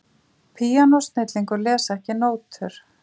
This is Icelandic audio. Píanósnillingur les ekki nótur